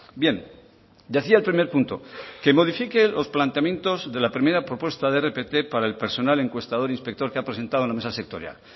bien decía el primer punto que modifiquen los planteamientos de la primera propuesta rpt para el personal encuestador inspector que ha presentado la mesa sectorial